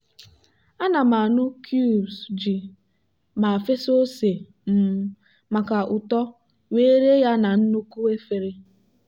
ana m anụ cubes ji ma fesa ose um maka ụtọ wee ree ya na nnukwu efere.